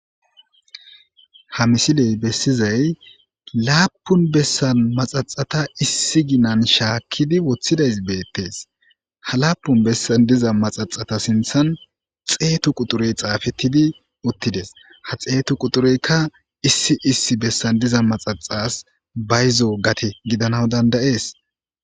Ha missiley bessizay lappun bessan maxxaxata ssi giina shakkidi woththides ha lappun bessan diiza maxxaxata sinththan xeetu quxxurey xafetidi uttides ha xeetu quxxureyka issi issi besssn diiza maxaxas bayzo gatte gidanawu danda'es.